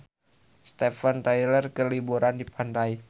Steven Tyler keur liburan di pantai